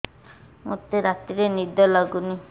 ମୋତେ ରାତିରେ ନିଦ ଲାଗୁନି